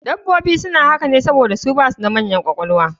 Dabbobi suna haka ne saboda su basu da manyan ƙwaƙwalwa